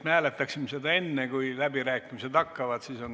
Hääletame enne, kui läbirääkimised hakkavad.